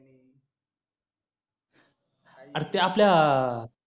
अरे ते आपल्या